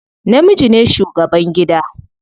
Namiji ne shugaban gida.